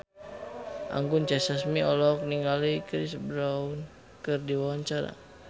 Anggun C. Sasmi olohok ningali Chris Brown keur diwawancara